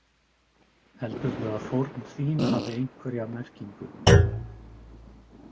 Heldurðu að fórn þín hafi einhverja merkingu?